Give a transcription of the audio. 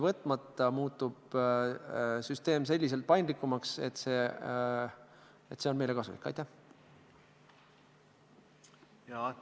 Formaalselt öeldes on niimoodi, et kaks asja võib-olla tuleks ära täpsustada.